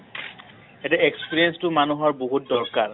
এতিয়া experience টো মানুহৰ বহুত দৰকাৰ